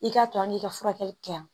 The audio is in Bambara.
I k'a to an k'i ka furakɛli kɛ yan